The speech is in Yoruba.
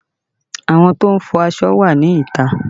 Àwọn tó ń fọ aṣọ wà ní ìta